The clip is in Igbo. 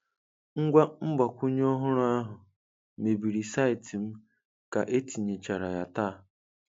Ngwa mgbakwunye ọhụrụ ahụ mebiri saịtị m ka etinyechara ya taa.